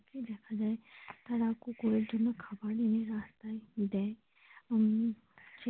তারা কুকুরের জন্য খাওয়ার এনে রাস্তায় দেয় উম ।